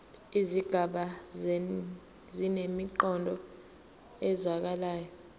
izigaba zinemiqondo ezwakalayo